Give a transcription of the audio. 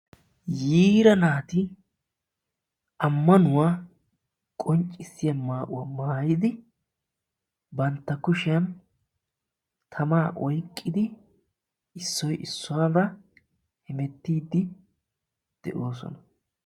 yiira naati amanuwa qonccissiya maayuwa maayidi bantta kushiyan tamaa oyqidi issoy issuwaga mentiidi de'oosona.